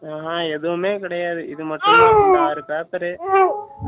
ஆ ஆஹான் எதுவுமே கிடையாது இது மட்டும் தான் ஆறு paper